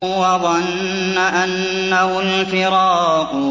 وَظَنَّ أَنَّهُ الْفِرَاقُ